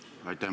Aitäh!